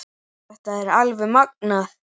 Þetta er alveg magnað.